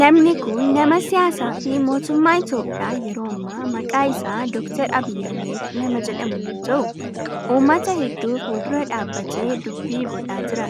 Namni kun nama siyaasaa fi mootummaa Itiyoophiyaa yeroo ammaa maqaan isaa Dr. Abiyi Ahimeed nama jedhamu yoo ta'u ummata heddu fuuldura dhaabbatee dubbii godhaa jira.